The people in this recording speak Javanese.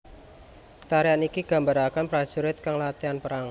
Tarian iki gambarake prajurit kang latihan perang